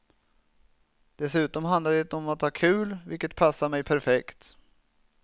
Dessutom handlar den om att ha kul, vilket passar mig perfekt.